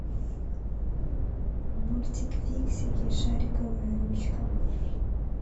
мультик фиксики шариковая ручка